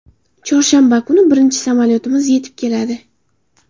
Chorshanba kuni birinchi samolyotimiz yetib keladi.